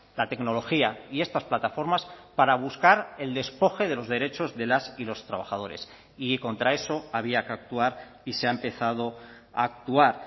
la tecnología y estas plataformas para buscar el despoje de los derechos de las y los trabajadores y contra eso había que actuar y se ha empezado a actuar